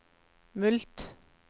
mulkt